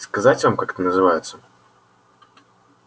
сказать вам как это называется